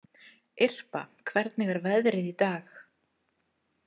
Irpa, hvernig er veðrið í dag?